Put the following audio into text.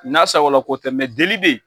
N'a sagola ko tɛ mɛ deli bɛ yen,